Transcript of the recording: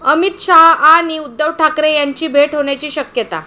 अमित शहा आणि उद्धव ठाकरे यांची भेट होण्याची शक्यता